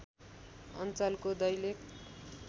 अञ्चलको दैलेख